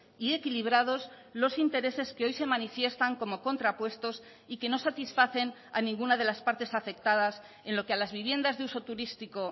y equilibrados los intereses que hoy se manifiestan como contrapuestos y que no satisfacen a ninguna de las partes afectadas en lo que a las viviendas de uso turístico